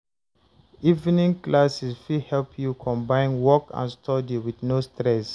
Evening classes fit help you combine work and study with no stress.